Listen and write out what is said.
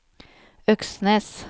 Øksnes